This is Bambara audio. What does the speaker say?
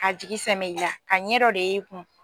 Ka jigi sɛmɛ i la a ɲɛ dɔ de ye i kun.